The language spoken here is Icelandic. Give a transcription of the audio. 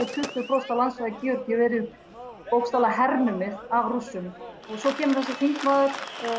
tuttugu prósent af landsvæði Georgíu verið bókstaflega hernumið af Rússum og svo kemur þessi þingmaður